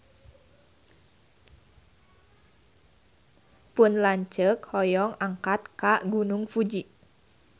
Pun lanceuk hoyong angkat ka Gunung Fuji